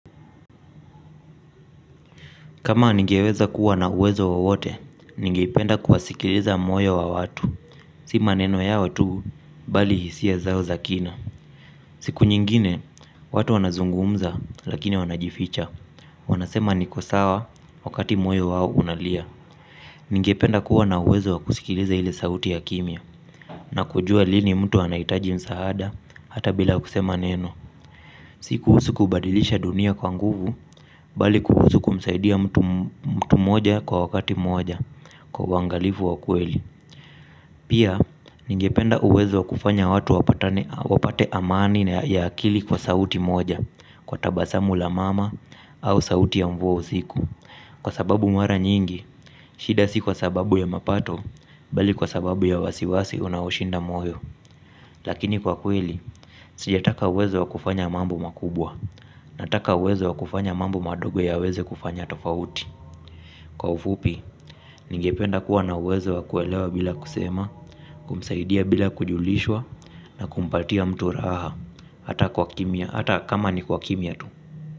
Kama ningeweza kuwa na uwezo wowote, ningependa kuwasikiliza moyo wa watu. Si maneno yao watu, bali hisia zao za kina. Siku nyingine watu wanazungumza lakini wanajificha. Wanasema niko sawa, wakati moyo wao unalia. Ningependa kuwa na uwezo wa kusikiliza hile sauti ya kimia. Na kujua lini mtu anaitaji msaada, hata bila kusema neno. Si kuusu kubadilisha dunia kwa nguvu bali kuhusu kumsaidia mtu moja kwa wakati moja kwa uangalifu wa kweli. Pia ningependa uwezo kufanya watu wapate amani na ya akili kwa sauti moja kwa tabasamu la mama au sauti ya mvua usiku. Kwa sababu mara nyingi, shida si kwa sababu ya mapato bali kwa sababu ya wasiwasi unaushinda moyo. Lakini kwa kweli, sija taka uwezo wa kufanya mambo makubwa, nataka uwezo wa kufanya mambo madogo yaweze kufanya tofauti. Kwa ufupi, ningependa kuwa na uwezo wa kuelewa bila kusema, kumsaidia bila kujulishwa, na kumpatia mtu raha, ata kwa kimia, ata kama ni kwa kimia tu.